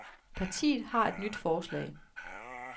Partiet har et nyt forslag.